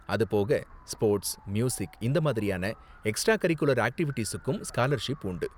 அது போக sports, music இந்த மாதிரியான எக்ஸ்ட்ரா கரிகுலர் ஆக்ட்டிவிட்டீஸுக்கும் ஸ்காலர்ஷிப் உண்டு.